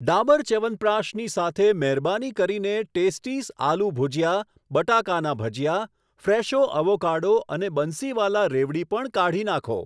ડાબર ચ્યવનપ્રાશની સાથે મહેરબાની કરીને ટેસ્ટીસ આલૂ ભુજિયા, બટાકાના ભજીયા, ફ્રેશો અવોકાડો અને બંસીવાલા રેવડી પણ કાઢી નાંખો.